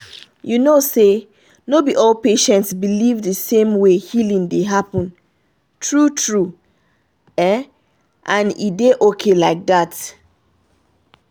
you know say no be all patients believe the same way healing dey happen true-true — and e dey okay like that.